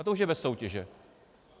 A to už je bez soutěže.